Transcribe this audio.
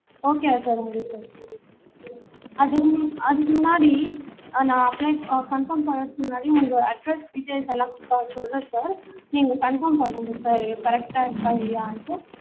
okay வா sir உங்களுக்கு அது அதுக்கு முன்னாடி நா apply conform பண்றதுக்கு முன்னாடி உங்க address details எல்லாம் சொல்லணும் sir நீங்க conform பண்ணணும் sircorrect ஆ இருக்கா இல்லையான்ட்டு